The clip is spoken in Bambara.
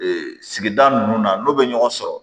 Ee sigida nunnu na n'u bɛ ɲɔgɔn sɔrɔ